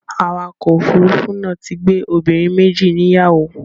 Awakọ̀ òfurufú náà ti gbé obìnrin méjì níyàwó.